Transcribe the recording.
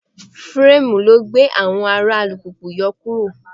Fireemu ló gbé àwọn ara alùpùpù yòókù ró.